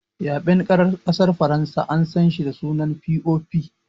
Ya6en ƙasar Faransa an san shi da sunan "POP"